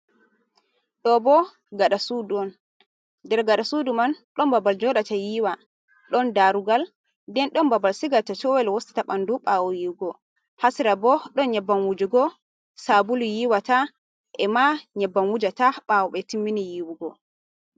Ɗobo gaɗa sudu on, dir gaɗa suduman ɗon babal joɗu go yiwa, ɗon darugal den ɗon babal sigugu tawul wusta ɓandu ɓawo yiwugo, hasira bo ɗon nyabban wujugo, sabulu yiwata e ma nyabbam wujata ɓawo ɓetimmini yi'wugo.